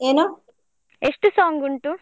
ಎಷ್ಟು song ಉಂಟು ?